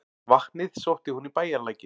Vatnið sótti hún í bæjarlækinn.